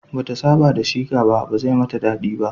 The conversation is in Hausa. Bata saba da sheqa ba, ba zai mata daɗi ba